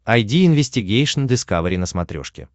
айди инвестигейшн дискавери на смотрешке